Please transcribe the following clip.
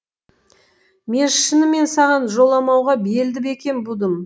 мен шынымен саған жоламауға белді бекем будым